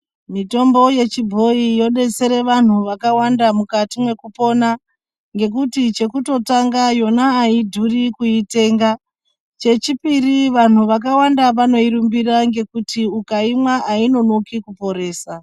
Mitombo yechi bhoyi yodetsera vanhu vakawanda mukati mekupona ngekuti chekuto tanga yona aidhuri kuitenga chechi piri vanhu vaka wanda vanoi rumbirira nekuti ukaimwa ainonoki ku poresa.